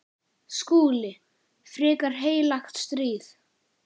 SKÚLI: Frekar heilagt stríð!